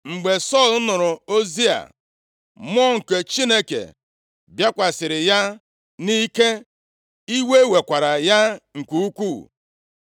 Mgbe Sọl nụrụ ozi a, Mmụọ nke Chineke bịakwasịrị ya nʼike, iwe wekwara ya nke ukwuu.